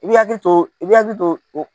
I b'i hakili to, i b'i hakili to o.